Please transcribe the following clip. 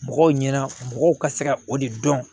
Mɔgɔw ɲɛna mɔgɔw ka se ka o de dɔn